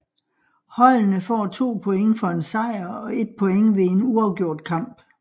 Holdene får 2 point for en sejr og 1 point ved en uafgjort kamp